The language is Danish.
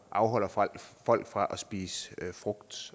afholder folk folk fra at spise frugt